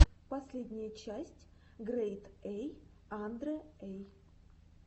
последняя часть грэйд эй анде эй